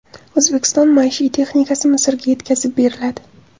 O‘zbekiston maishiy texnikasi Misrga yetkazib beriladi.